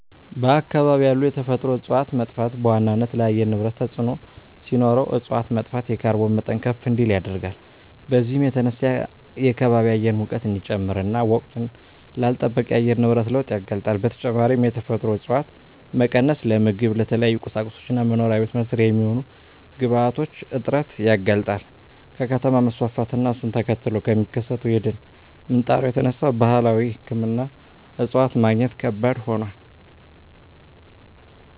በአካባቢ ያሉ የተፈጥሮ እፀዋት መጥፋት በዋናነት ለአየር ንብረት ተፅዕኖ ሲኖረው እፅዋት መጥፋት የካርቦን መጠን ከፍ እንዲል ያደርጋል። በዚህም የተነሳ የከባቢ አየር ሙቀት እንዲጨምር እና ወቅቱን ላልለጠበቀ የአየር ንብረት ለውጥ ያጋልጣል። በተጨማሪም የተፈጥሮ እፀዋት መቀነስ ለምግብ፣ ለተለያዩ ቁሳቁሶች እና መኖሪያ ቤት መስሪያ የሚሆኑ ግብአቶች እጥረት ያጋልጣል። ከከተማ መስፋፋት እና እሱን ተከትሎ ከሚከሰተው የደን ምንጣሮ የተነሳ ባህላዊ ሕክምና እፅዋት ማግኘት ከባድ ሆኗል።